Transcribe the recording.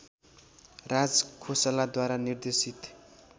राजखोसलाद्वारा निर्देशित